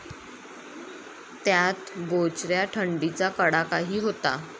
त्यात बोचऱ्या थंडीचा कडाकाही होता.